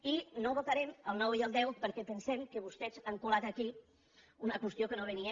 i no votarem el nou ni el deu perquè pen·sem que vostès han colat aquí una qüestió que no ve·nia